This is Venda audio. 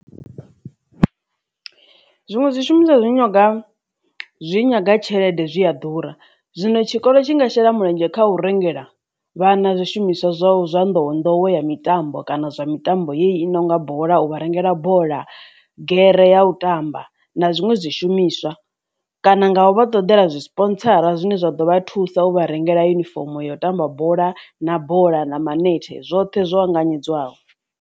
Zwiṅwe zwishumiswa zwi nyanga zwi nyaga tshelede zwi a ḓura zwino tshikolo tshi nga shela mulenzhe kha u rengela vhana zwishumiswa zwa zwa nḓowenḓowe ya mitambo kana zwa mitambo yei nonga bola u vha rengela bola gere ya u tamba na zwiṅwe zwi shumiswa kana nga u vha ṱodela zwi spotsara zwine zwa ḓo vha thusa u vha rengela yunifomo ya u tamba bola na bola na manethe zwoṱhe zwo anganyedzwaho.